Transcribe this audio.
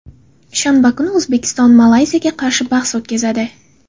shanba kuni O‘zbekiston Malayziyaga qarshi bahs o‘tkazadi.